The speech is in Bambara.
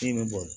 Ji bɛ bɔ